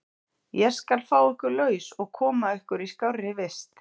Ég skal fá ykkur laus og koma ykkur í skárri vist.